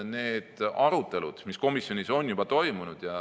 Need arutelud on komisjonis juba toimunud.